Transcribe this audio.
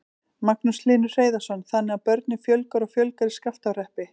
Magnús Hlynur Hreiðarsson: Þannig að börnum fjölgar og fjölgar í Skaftárhreppi?